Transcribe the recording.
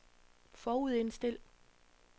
forudindstil